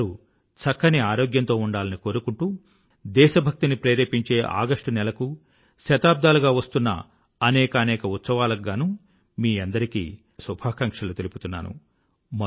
మీ అందరూ చక్కని ఆరోగ్యంతో ఉండాలని కోరుకుంటూ దేశ భక్తిని ప్రేరేపించే ఆగస్టు నెలకూ శతాబ్దాలుగా వస్తున్న అనేకానేక ఉత్సవాలకు గానూ మీ అందరికీ అనేకానేక శుభాకాంక్షలు తెలుపుతున్నాను